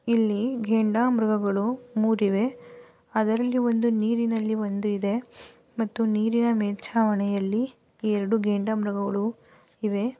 ಇಲ್ಲಿ ಗೆಂಡಾಮೃಗಗಳು ಮೂರಿವೆ ಅದರಲ್ಲಿ ಒಂದು ನೀರಿನಲ್ಲಿ ಒಂದು ಇದೆ ಮತ್ತು ನೀರಿನ ಮೇಲ್ಛಾವಣಿಯಲ್ಲಿ ಎರಡು ಗೆಂಡಾಮೃಗಗಳು ಇವೆ .